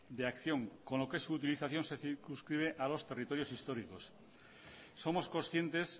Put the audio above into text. de acción con lo que se su utilización se circunscribe a dos territorios históricos somos conscientes